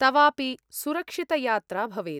तवापि सुरक्षितयात्रा भवेत्।